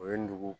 O ye dugu